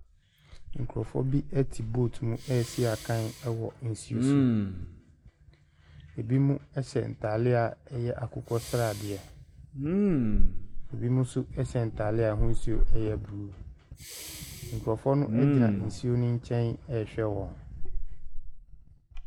Nkurɔfoɔ bi te boat mu resi akan wɔ boat mu wɔ nsuo so. Binom hyɛ ntadeɛ a ɛyɛ akokɔsradeɛ. Binom nso hyɛ atadeɛ a ahosuo yɛ blue. Nkurɔfoɔ no gyina nsuo no nkyɛn rehwɛ wɔ.